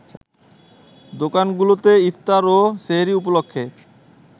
দোকানগুলোতে ইফতার ও সেহরি উপলক্ষে